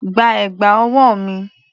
Gba ẹ̀gbà ọwọ́ mi!